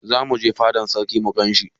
Zamu je fada na sarki mu gan shi.